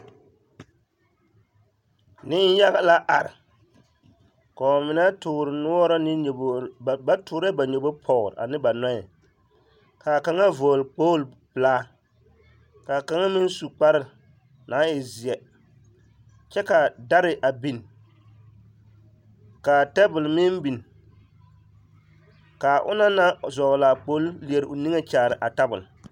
Neŋyaga la are ka mine toore noɔre ne nyɔbogi ba toorɛɛ ba nyɔbogi pɔge kaa kaŋa vɔgle kpooli pelaa ka kaŋa meŋ su kpare aŋ e zeɛ kyɛ ka dare a biŋ ka tabol meŋ biŋ ka onaŋ naŋ vɔgle a kpooli leɛ o niŋe kyaare a tabol.